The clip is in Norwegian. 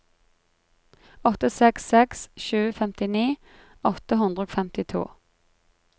åtte seks seks sju femtini åtte hundre og femtito